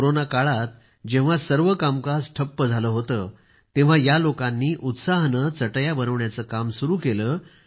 corona काळात जेव्हा सर्व कामकाज ठप्प झाले होते तेव्हा या लोकांनी उत्साहाने चटई बनविण्याचे काम सुरू केले